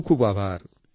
ખૂબ ખૂબ આભાર